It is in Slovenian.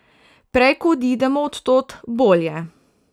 Prej ko odidemo od tod, bolje.